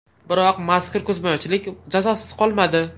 Biroq mazkur ko‘zbo‘yamachilik jazosiz qolmadi.